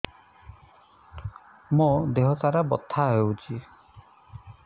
ମୋ ଦିହସାରା ବଥା ହଉଚି